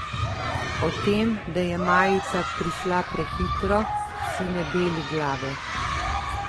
O tem, da je majica prišla prehitro, si ne beli glave.